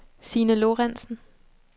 Sine Lorentsen